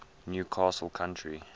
new castle county